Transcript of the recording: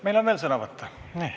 Meil on veel sõnavõtte.